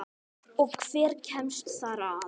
Og hver kemst þar að?